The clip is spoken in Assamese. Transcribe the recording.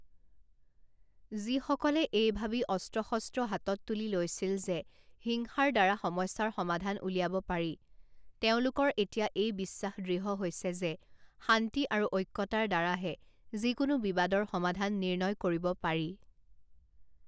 যিসকলে এই ভাবি অস্ত্ৰ শস্ত্ৰ হাতত তুলি লৈছিল যে হিংসাৰ দ্বাৰা সমস্যাৰ সমাধান উলিয়াব পাৰি, তেওঁলোকৰ এতিয়া এই বিশ্বাস দৃঢ় হৈছে যে শান্তি আৰু ঐক্যতাৰ দ্বাৰাহে যিকোনো বিবাদৰ সমাধান নিৰ্ণয় কৰিব পাৰি।